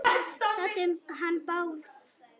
Þetta um hann Bárð?